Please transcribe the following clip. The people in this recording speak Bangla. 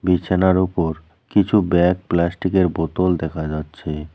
বিছানার উপর কিছু ব্যাগ প্লাস্টিক -এর বোতল দেখা যাচ্ছে।